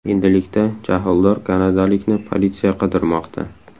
Endilikda jahldor kanadalikni politsiya qidirmoqda.